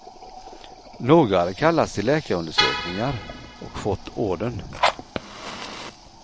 Några hade kallats till läkarundersökningar och fått ordern.